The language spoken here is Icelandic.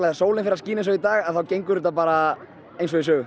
sólin fer að skína eins og í dag þá gengur þetta bara eins og í sögu